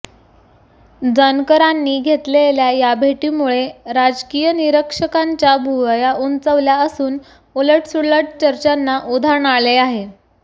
जानकरांनी घेतलेल्या या भेटीमुळे राजकीय निरीक्षकांच्या भुवया उंचावल्या असून उलटसुलट चर्चांना उधाण आले आहे